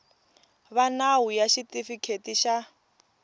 va nawu ya xitifiketi xa